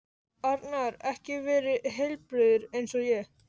Arnar ekki verið heilbrigður eins og ég?